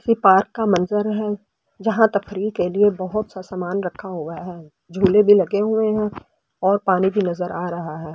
इस पार्क का मंजर है जहां तकरीह के लिए बहुत सा सामान रखा हुए हैं झूले भी लगे हुए हैं और पानी भी नजर आ रहा है।